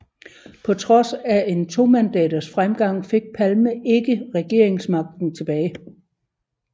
På trods af en tomandaters fremgang fik Palme ikke regeringsmagten tilbage